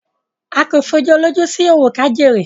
à kò fòjú olóòjú sí òwó kájéré.